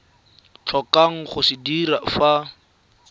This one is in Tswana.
tlhokang go se dira fa